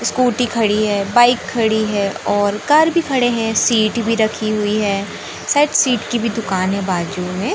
Scooty खड़ी है bike खड़ी है और कार भी खड़े है सीट भी रखी हुई है शायद सीट की भी दुकान है बाजू में।